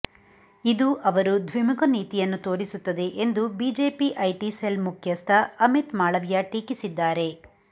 ಇದು ಅವರು ದ್ವಿಮುಖ ನೀತಿಯನ್ನು ತೋರಿಸುತ್ತದೆ ಎಂದು ಬಿಜೆಪಿ ಐಟಿ ಸೆಲ್ ಮುಖ್ಯಸ್ಥ ಅಮಿತ್ ಮಾಳವಿಯ ಟೀಕಿಸಿದ್ದಾರೆ